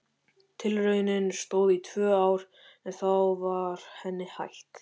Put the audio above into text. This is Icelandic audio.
Tilraunin stóð í tvö ár en þá var henni hætt.